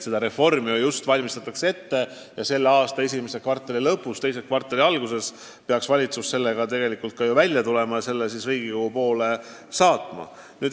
Seda reformi praegu valmistatakse ette ja tänavu esimese kvartali lõpus või teise kvartali alguses peaks valitsus sellega välja tulema ja selle ka Riigikogu poole teele saatma.